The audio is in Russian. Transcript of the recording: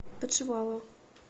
подшивалова